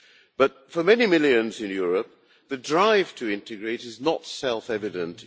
But for many millions in Europe the drive to integrate is not self evident.